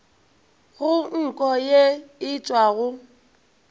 go nko ye e tšwago